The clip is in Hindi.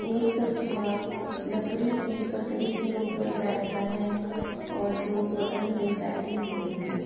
एक कछुआ लकड़ी के पटरी के ऊपर बैठा है और दो बगल में बैठे हुए हैं ।